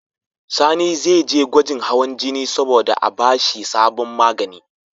Sani ze je gwajin hawan jini sabo da a bashi sabon magani